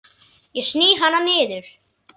Ég sný hana niður.